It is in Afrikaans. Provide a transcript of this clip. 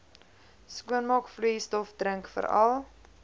skoonmaakvloeistof drink veral